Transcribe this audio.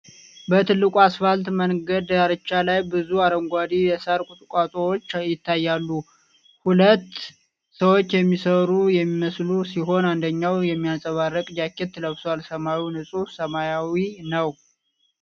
በትልቁ አስፋልት መንገድ ዳርቻ ላይ ብዙ አረንጓዴ የሳር ቁጥቋጦዎች ይታያሉ። ሁለት ሰዎች የሚሰሩ የሚመስሉ ሲሆን፣ አንደኛው የሚያንፀባርቅ ጃኬት ለብሷል። ሰማዩ ንጹህ ሰማያዊ ነው።